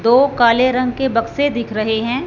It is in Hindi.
दो काले रंग के बक्से दिख रहे हैं।